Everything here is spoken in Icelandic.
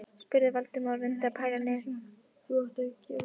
spurði Valdimar og reyndi að bæla niður undrun sína.